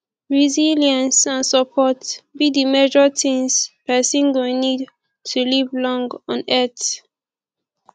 resilience and support be di major things pesin go need to live long on earth